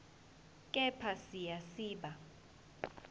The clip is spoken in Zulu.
kepha siya siba